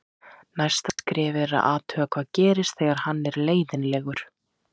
Næsta skrefið er að athuga hvað gerist þegar hann er leiðinlegur.